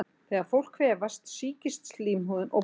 Þegar fólk kvefast sýkist slímhúðin og bólgnar.